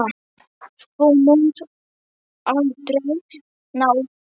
Þú munt aldrei ná þér.